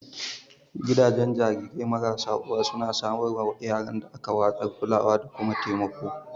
Gidajen jarirai marasa uwa suna samar wa yaran da aka watsar kulawa da kuma taimako